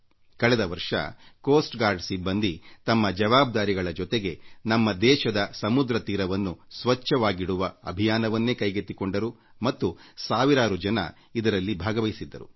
ಕಳೆದ ವರ್ಷ ಕರಾವಳಿ ಕಾವಲು ಪಡೆ ಸಿಬ್ಬಂದಿ ತಮ್ಮ ಕರಾವಳಿ ಭದ್ರತೆಯ ಜವಾಬ್ದಾರಿಗಳ ಜೊತೆಗೆ ನಮ್ಮ ದೇಶದ ಸಮುದ್ರ ತೀರವನ್ನು ಸ್ವಚ್ಛವಾಗಿಡುವ ಅಭಿಯಾನವನ್ನೇ ಕೈಗೆತ್ತಿಕೊಂಡರು ಮತ್ತು ಸಾವಿರಾರು ಜನ ಇದರಲ್ಲಿ ಭಾಗವಹಿಸಿದ್ದರು